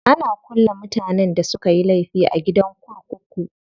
Ana kulle mutanen da sukayi laifi a gidan kurkuku.